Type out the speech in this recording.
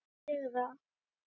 Ástin sigrar